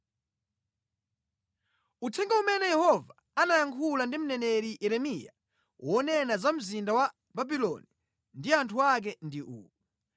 Uthenga umene Yehova anayankhula ndi mneneri Yeremiya wonena za mzinda wa Babuloni ndi anthu ake ndi uwu: